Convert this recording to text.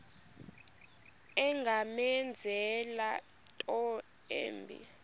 ungamenzela into embi